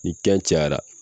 Ni kɛn cayara.